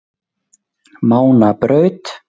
Mánabraut